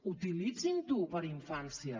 utilitzin ho per a infància